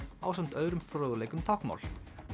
ásamt öðrum fróðleik um táknmál